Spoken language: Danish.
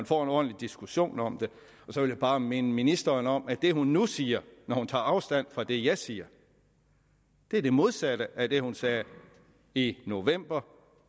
få en ordentlig diskussion om det så vil jeg bare minde ministeren om at det hun nu siger når hun tager afstand fra det jeg siger er det modsatte af det hun sagde i november